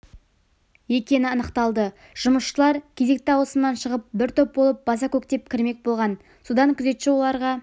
екені анықталды жұмысшылар кезекті ауысымнан шығып бір топ болып баса-көктеп кірмек болған содан күзетші оларға